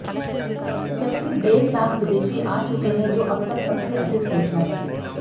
जबकि डेढ़ लाख विदेशी आ चुके हैं जो अब तक सबसे अधिक संख्या है